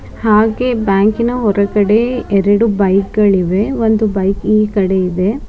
ಹಾಗೆ ಬ್ಯಾಂಕನ ಹೊರಗಡೆ ಎರಡು ಬೈಕ್ ಗಳಿವೆ ಒಂದು ಬೈಕ್ ಈ ಕಡೆ ಇದೆ.